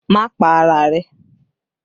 Má pa ara rẹ̀!